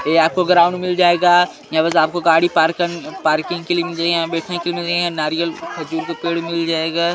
ये आपको ग्राउंड मिल जाएगा यहाँ पास आपको गाड़ी पार्क करने पार्किंग के लिए यहाँ बैठने के लिए नारियल खजूर पेड़ भी मिल जाएगा--